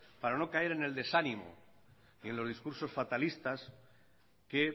para no caer en el desánimo y en los discursos fatalistas que